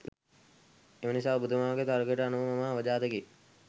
එමනිසා ඔබතුමාගේ තර්කයට අනුව මම අවජාතකයෙක්